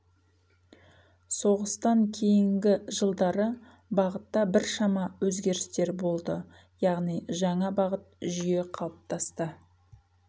соғыстан кейінгі жылдары бағытта біршама өзгерістер болды яғни жаңа бағыт жүйе қалыптасты